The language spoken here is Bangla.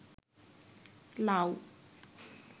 লাউ